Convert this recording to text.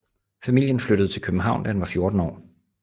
Familien flyttede til København da han var 14 år